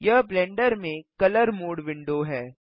यह ब्लेंडर में colour mode window है